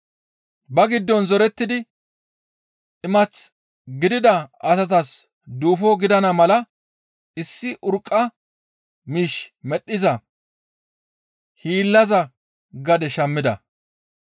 Ba giddon zorettidi imath gidida asatas duufo gidana mala issi urqqa miish medhdhiza hiillaza gade shammida.